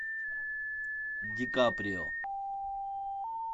ди каприо